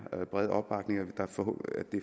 brede opbakning